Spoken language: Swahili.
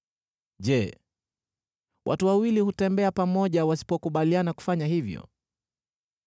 Je, watu wawili hutembea pamoja wasipokubaliana kufanya hivyo?